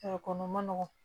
kɔnɔ ma nɔgɔn